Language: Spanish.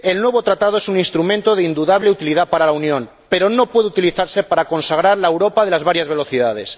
El nuevo Tratado es un instrumento de indudable utilidad para la Unión, pero no puede utilizarse para consagrar la Europa de las varias velocidades.